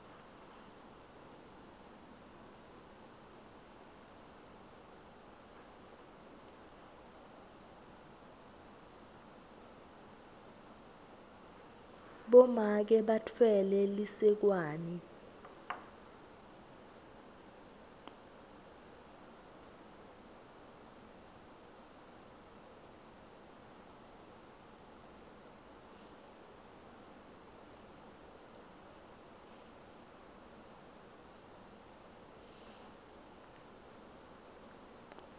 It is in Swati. bomake batfwele lisekwane